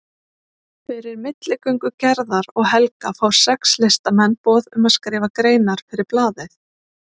Fyrir milligöngu Gerðar og Helga fá sex listamenn boð um að skrifa greinar fyrir blaðið.